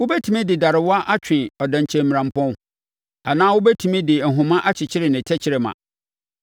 “Wobɛtumi de darewa atwe ɔdɛnkyɛmmirampɔn anaa wobɛtumi de ahoma akyekyere ne tɛkrɛma?